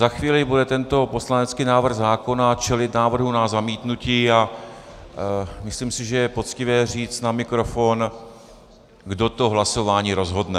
Za chvíli bude tento poslanecký návrh zákona čelit návrhu na zamítnutí a myslím si, že je poctivé říct na mikrofon, kdo to hlasování rozhodne.